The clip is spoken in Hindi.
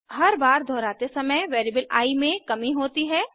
हर बार दोहराते समय वेरिएबल आई में कमी होती है